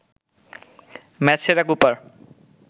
match সেরা Cooper